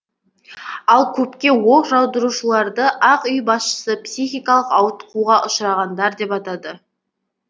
ал көпке оқ жаудыраушыларды ақ үй басшысы психикалық ауытқуға ұшырағандар деп атады